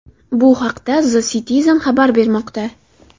Bu haqda The Citizen xabar bermoqda .